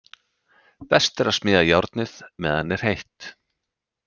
Best er að smíða járnið meðan er heitt.